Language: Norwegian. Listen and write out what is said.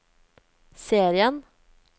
serien